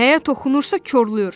Nəyə toxunursa korlayır.